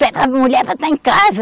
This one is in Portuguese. mulher é para estar em casa.